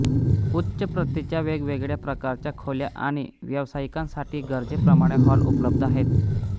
उच्च प्रतीच्या वेगवेगळ्या प्रकारच्या खोल्या आणि व्यवसाइकासाठी गरजेप्रमाणे हॉल उपलब्ध आहेत